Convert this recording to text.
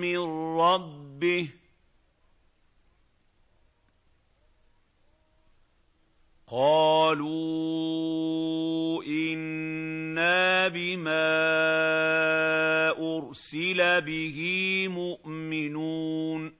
مِّن رَّبِّهِ ۚ قَالُوا إِنَّا بِمَا أُرْسِلَ بِهِ مُؤْمِنُونَ